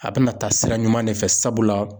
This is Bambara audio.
A bina taa sira ɲuman de fɛ sabula